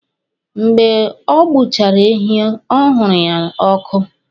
Mgbe ọ gbuchara ehi ọ huru ya ọkụ